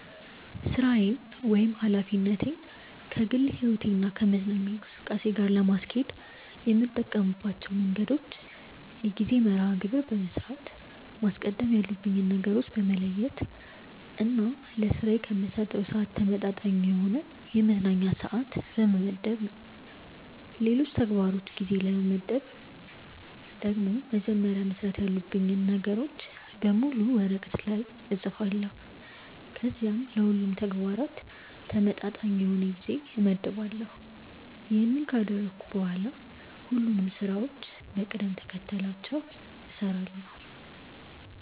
ሥራዬን ወይም ኃላፊነቴን ከግል ሕይወቴ እና ከመዝናኛ እንቅስቃሴ ጋር ለማስኬድ የምጠቀምባቸው መንገዶች የጊዜ መርሐ ግብር በመስራት፣ ማስቀደም ያሉብኝን ነገሮች በመለየት እና ለስራዬ ከምሰጠው ስዓት ተመጣጣኝ የሆነ የመዝናኛ ስዓት በመመደብ ነው። ለሌሎች ተግባሮች ጊዜ ለመመደብ ደግሞ መጀመሪያ መስራት ያሉብኝን ነገሮች በሙሉ ወረቀት ላይ እፅፋለሁ ከዚያም ለሁሉም ተግባራት ተመጣጣኝ የሆነ ጊዜ እመድባለሁ። ይሄንን ካደረግኩ በኋላ ሁሉንም ስራዎችን በቅደም ተከተላቸው እሰራለሁ።